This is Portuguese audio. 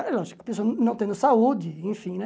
É lógico, a pessoa não tendo saúde, enfim, né?